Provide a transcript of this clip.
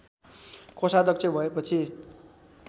कोषाध्यक्ष भएपछि